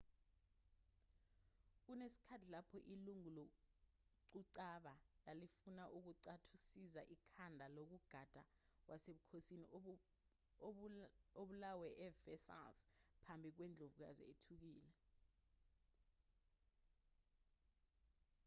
kunesikhathi lapho ilungu loquqaba lalifuna ukunqathuzisa ikhanda lonogada wasebukhosini obulawe eversailles phambi kwendlovukazi ethukile